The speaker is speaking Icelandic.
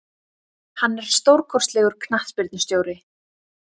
Hann er stórkostlegur knattspyrnustjóri.